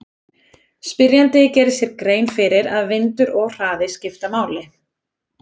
Spyrjandi gerir sér grein fyrir að vindur og hraði skipta máli.